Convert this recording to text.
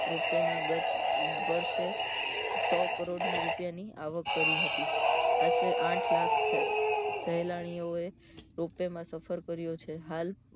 ropway નાગત સો કરોડ ની રૂપિયા ની આવક કરી હતી આશરે આઠ લાખ શહેરની ઓ ropeway માં સફર કર્યું હતું હાલ